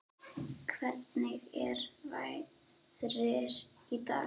Hvernig er veðrið í dag?